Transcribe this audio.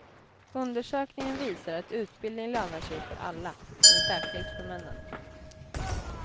Undersökningen visar att utbildning lönar sig för alla, men särskilt för männen.